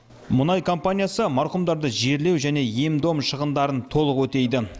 мұнай компаниясы марқұмдарды жерлеу және ем дом шығындарын толық өтейді